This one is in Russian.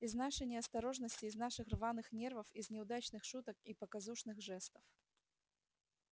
из нашей неосторожности из наших рваных нервов из неудачных шуток и показушных жестов